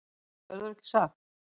Það verður ekki sagt.